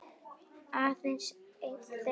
Aðeins einn þeirra lét lífið.